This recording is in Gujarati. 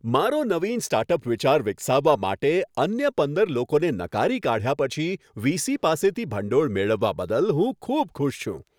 મારો નવીન સ્ટાર્ટઅપ વિચાર વિકસાવવા માટે, અન્ય પંદર લોકોને નકારી કાઢ્યા પછી, વીસી પાસેથી ભંડોળ મેળવવા બદલ હું ખૂબ ખુશ છું.